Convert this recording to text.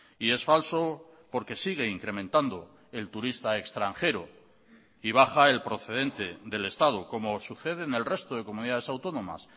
y es falso porque sigue incrementando el turista extranjero y baja el procedente del estado como sucede en el resto de comunidades autónomas